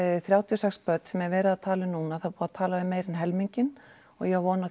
þrjátíu og sex börn sem verið er að tala við núna það er búið að tala við meira en helminginn og ég á von á